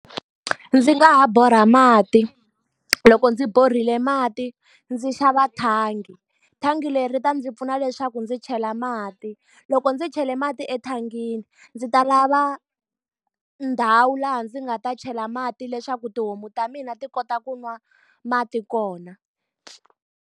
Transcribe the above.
Ndzi nga ha borha mati, loko ndzi borhele mati ndzi xava thangi. Thangi leri ri ta ndzi pfuna leswaku ndzi chela mati. Loko ndzi chele mati ethangini, ndzi ta lava ndhawu laha ndzi nga ta chela mati leswaku tihomu ta mina ti kota ku nwa mati kona.